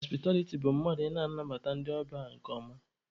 Họspịtabiliti bụ mmadụ ị na-anabata ndị ọbịa nke ọma